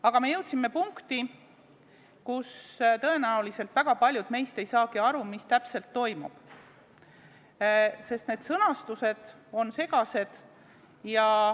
Aga me jõudsime punkti, kus tõenäoliselt väga paljud meist ei saagi aru, mis täpselt toimub, sest sõnastus on segane.